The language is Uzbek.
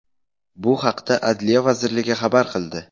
Bu haqda Adliya vazirligi xabar qildi .